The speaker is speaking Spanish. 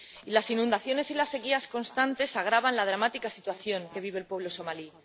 Las inundaciones y las sequías constantes agravan la dramática situación que vive el pueblo somalí.